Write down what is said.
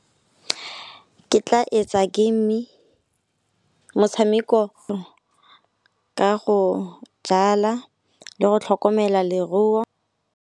Ke tla etsa game, motshameko ka go dlala le go tlhokomela leruo.